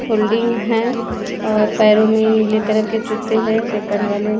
Folding हैं और पेरो मैं नीले कलर की जूते हैं सेकंड वाले इसमें।